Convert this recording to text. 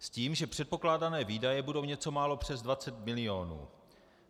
S tím, že předpokládané výdaje budou něco málo přes 20 milionů.